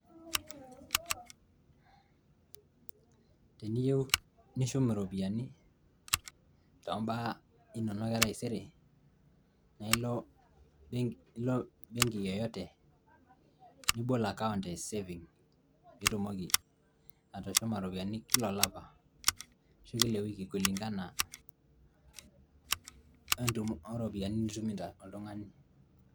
teniyiue nishum iropiyiani tombaa inonok etaisere na ilo benki yeyote nibol akaunt e saving piitumoki atushuma iropiani kila olapa ashu kila ewiki kulingana oropiyiani nitumito oltung`ani.